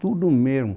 Tudo mesmo.